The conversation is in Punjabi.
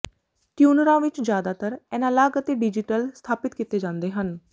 ਟਿਊਨਰਾਂ ਵਿੱਚ ਜਿਆਦਾਤਰ ਐਨਾਲਾਗ ਅਤੇ ਡਿਜੀਟਲ ਸਥਾਪਿਤ ਕੀਤੇ ਜਾਂਦੇ ਹਨ